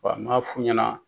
Wa m'a fu i ɲɛna.